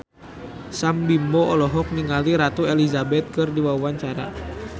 Sam Bimbo olohok ningali Ratu Elizabeth keur diwawancara